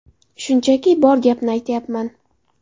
Shunchaki bor gapni aytayapman.